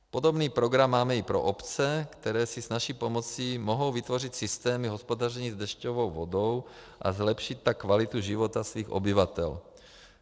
Podobný program máme i pro obce, které se s naší pomocí mohou vytvořit systémy hospodaření s dešťovou vodou a zlepšit tak kvalitu života svých obyvatel.